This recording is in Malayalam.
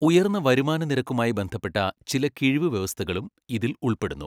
ഉയർന്ന വരുമാന നിരക്കുമായി ബന്ധപ്പെട്ട ചില കിഴിവ് വ്യവസ്ഥകളും ഇതിൽ ഉൾപ്പെടുന്നു.